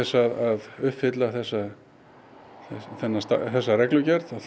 að uppfylla þessa þessa reglugerð